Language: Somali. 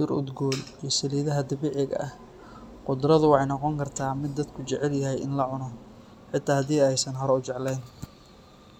ee udgon geedaha dabiciga ah, gudradu wexee noqon kartaa miid dadku ee jecelyihin in lacuno xita hedii aad haysani hore u jeclen.